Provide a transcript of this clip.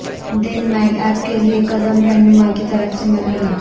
دن makeup کے لئے قدم رہنما کی طرف سے مرحلہ